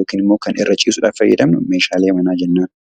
yookaan immoo irra ciisuudhaaf fayyamnu Meeshaalee manaa jennaan.